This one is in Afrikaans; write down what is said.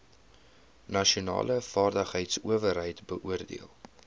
nasionale vaardigheidsowerheid beoordeel